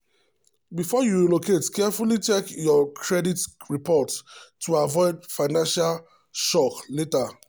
before you relocate carefully check your credit reports to avoid financial shock later.